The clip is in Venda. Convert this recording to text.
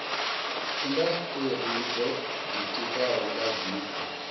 indasiteri dzo ditikaho nga zwiko